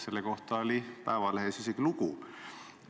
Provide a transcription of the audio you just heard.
Selle kohta ilmus Eesti Päevalehes isegi lugu.